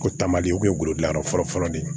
Ko taamaden o kun ye golo dilanyɔrɔ fɔlɔ fɔlɔ de ye